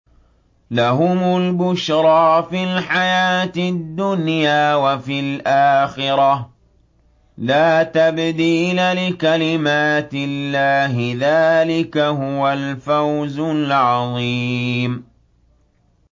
لَهُمُ الْبُشْرَىٰ فِي الْحَيَاةِ الدُّنْيَا وَفِي الْآخِرَةِ ۚ لَا تَبْدِيلَ لِكَلِمَاتِ اللَّهِ ۚ ذَٰلِكَ هُوَ الْفَوْزُ الْعَظِيمُ